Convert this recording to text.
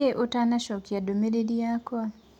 Nĩkĩĩ ũtanacokĩa ndũmĩrĩrĩ yakwa?